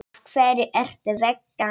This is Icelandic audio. Af hverju ertu vegan?